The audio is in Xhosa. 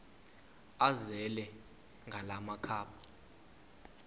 azele ngala makhaba